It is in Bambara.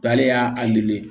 K'ale y'a nege